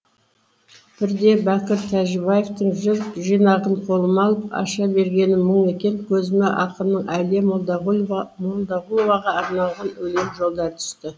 бірде бәкір тәжібаевтың жыр жинағын қолыма алып аша бергенім мұң екен көзіме ақынның әлия молдағұловаға арналған өлең жолдары түсті